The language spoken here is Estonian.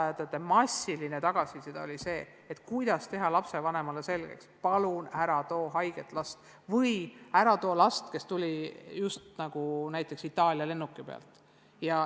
Lasteaedade massiline tagasiside oli see, kuidas teha lapsevanemale selgeks, et ta ei tooks rühma haiget last või sellist last, kes tuli just näiteks Itaalia lennuki pealt.